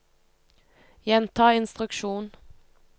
gjenta instruksjon